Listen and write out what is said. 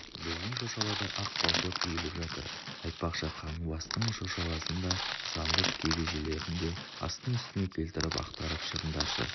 біздің шошалада ақ балшық үйіліп жатыр айтпақшы қаңғыбастың шошаласын да сандық кебежелерін де астын-үстіне келтіріп ақтарып шығыңдаршы